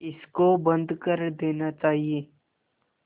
इसको बंद कर देना चाहिए